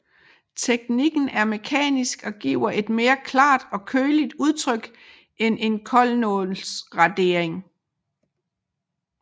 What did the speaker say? Teknikken er mekanisk og giver et mere klart og køligt udtryk end en koldnålsradering